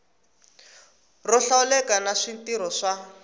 ro hlawuleka na switirho swa